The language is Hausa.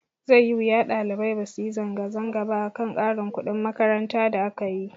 Zai yi wuya ɗalibai basu yi zanga zanga ba akan ƙarin kuɗin makaranta da akayi.